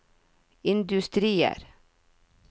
industrier